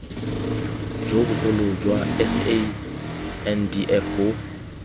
jo bogolo jwa sandf bo